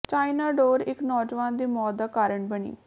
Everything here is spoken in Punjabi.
ਚਾਈਨਾ ਡੋਰ ਇਕ ਨੌਜਵਾਨ ਦੀ ਮੌਤ ਦਾ ਕਾਰਨ ਬਣੀ